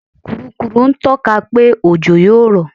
Kùrukùru ń tọ́ka pé òjò yó rọ̀.